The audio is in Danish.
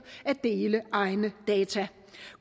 at dele egne data